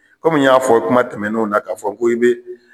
Komi n y'a fɔ kuma tɛmɛnen na k'a fɔ ko e be